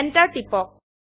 enter টিপক